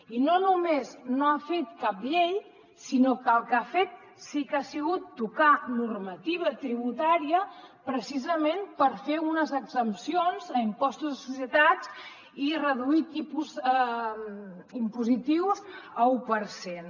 i no només no ha fet cap llei sinó que el que ha fet sí que ha sigut tocar normativa tributària precisament per fer unes exempcions a impostos de societats i reduir tipus impositius a un per cent